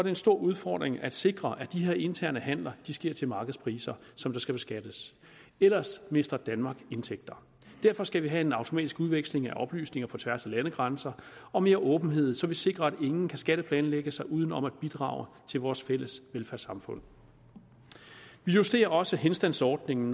en stor udfordring at sikre at de her interne handeler sker til markedspriser som skal beskattes ellers mister danmark indtægter derfor skal vi have en automatisk udveksling af oplysninger på tværs af landegrænser og mere åbenhed så vi sikrer at ingen kan skatteplanlægge sig uden om at bidrage til vores fælles velfærdssamfund vi justerer også henstandsordningen